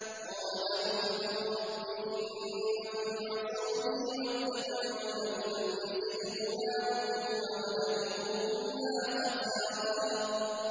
قَالَ نُوحٌ رَّبِّ إِنَّهُمْ عَصَوْنِي وَاتَّبَعُوا مَن لَّمْ يَزِدْهُ مَالُهُ وَوَلَدُهُ إِلَّا خَسَارًا